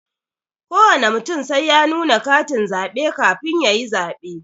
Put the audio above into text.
Kowana mutum sai ya nuna katin zabe kafin yayi zabe.